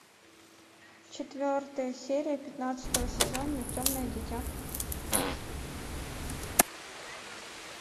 четвертая серия пятнадцатого сезона темное дитя